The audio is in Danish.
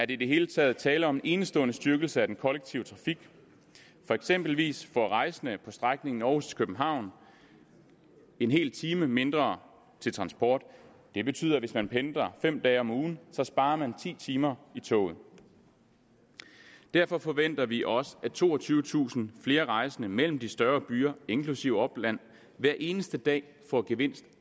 i det hele taget tale om en enestående styrkelse af den kollektive trafik eksempelvis får rejsende på strækningen aarhus københavn en hel time mindre til transport det betyder at hvis man pendler fem dage om ugen sparer man ti timer i toget derfor forventer vi også at toogtyvetusind flere rejsende mellem de større byer inklusive opland hver eneste dag får gevinst